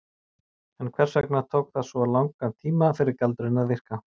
En hvers vegna tók það svona langan tíma fyrir galdurinn að virka?